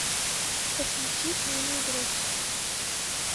подключи тайный игрок